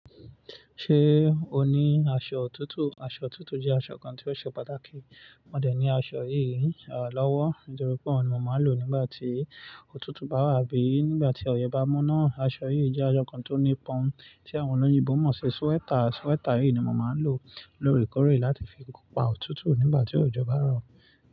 Ṣé o ní aṣọ òtútù? Aṣọ òtútù jẹ́ aṣọ kan tí ó ṣe pàtàkì. Mo dẹ̀ ní aṣọ yìí lọ́wọ́ nítorí pé ọ̀hun ni mo máa ń lò nígbà tí òtútù bá wà abí nígbà tí ọ̀yẹ́ bá mu náà. Aṣọ yìí jẹ́ aṣọ kan tó nípa tí àwọn olóyìnbo mọ̀ sí sweater. Sweater yìí ni mo máa ń lò lóorèkoórè láti fi pa òtútù nígbà tí òjò bá rọ̀